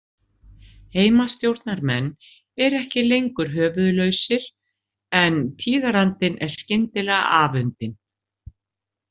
Heimastjórnarmenn eru ekki lengur höfuðlausir en tíðarandinn er skyndilega afundinn.